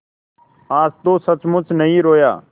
आज तो सचमुच नहीं रोया